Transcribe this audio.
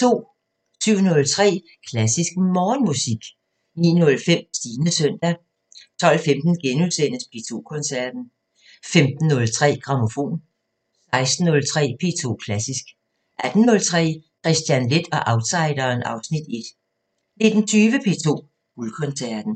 07:03: Klassisk Morgenmusik 09:05: Stines søndag 12:15: P2 Koncerten * 15:03: Grammofon 16:03: P2 Klassisk 18:03: Kristian Leth og outsideren (Afs. 1) 19:20: P2 Guldkoncerten